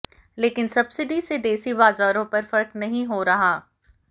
लेकिन सब्सिडी से देसी बाजारों पर फर्कनहीं हो रहा